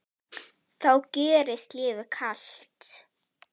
þá gjörist lífið kalt.